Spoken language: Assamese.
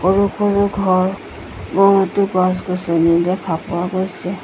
সৰু-সৰু সমূহ ঘৰ বহুতো গছ-গছনি দেখা পোৱা গৈছে।